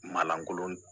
Malankolon